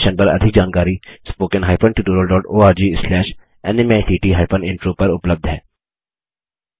इस मिशन पर अधिक जानकारी spoken hyphen tutorial dot ORG slash NMEICT hyphen intro link पर उपलब्ध है